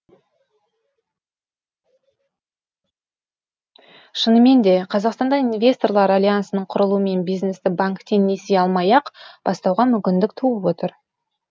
шынымен де қазақстанда инвесторлар альянсының құрылуымен бизнесті банктен несие алмай ақ бастауға мүмкіндік туып отыр